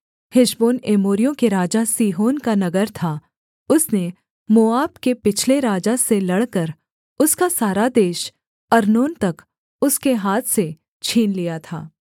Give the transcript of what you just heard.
Heshbon एमोरियों के राजा सीहोन का नगर था उसने मोआब के पिछले राजा से लड़कर उसका सारा देश अर्नोन तक उसके हाथ से छीन लिया था